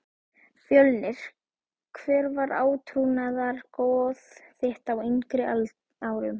Fjölnir Hver var átrúnaðargoð þitt á yngri árum?